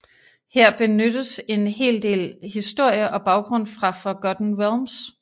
Her benyttes en hel del historie og baggrund fra Forgotten Realms